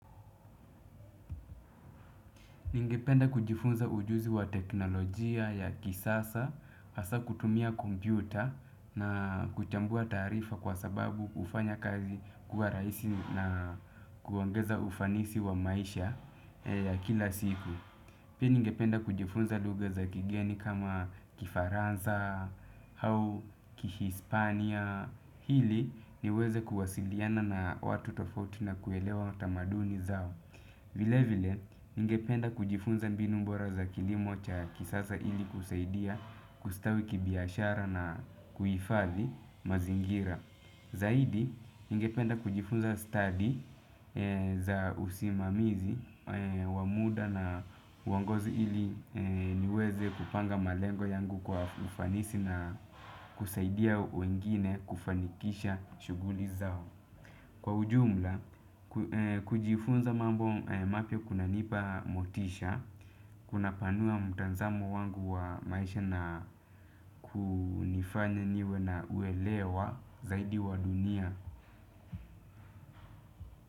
Ningependa kujifunza ujuzi wa teknolojia ya kisasa, hasa kutumia kompyuta na kuchambua taarifa kwa sababu hufanya kazi kuwa rahisi na kuongeza ufanisi wa maisha ya kila siku. Pia ningependa kujifunza lugha za kigeni kama kifaransa au kihispania. Ili niweze kuwasiliana na watu tofauti na kuelewa tamaduni zao. Vilevile, ningependa kujifunza mbinu bora za kilimo cha kisasa ili kusaidia kustawi kibiashara na kuhifadhi mazingira. Zaidi, ningependa kujifunza stadi za usimamizi wa muda na wa uongozi ili niweze kupanga malengo yangu kwa ufanisi na kusaidia wengine kufanikisha shughuli zao. Kwa ujumla, kujifunza mambo mapya kunanipa motisha, kunapanua mtazamo wangu wa maisha na kunifanya niwe na uelewa zaidi wa dunia.